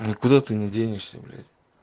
никуда ты не денешься блять